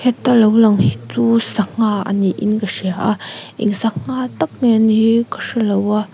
ta lo lang hi chu sangha a ni in ka hria a eng sangha tak nge a nih hi ka hre lo a.